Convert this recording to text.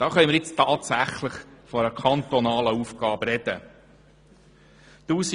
Hier können wir nun tatsächlich von einer kantonalen Aufgabe sprechen.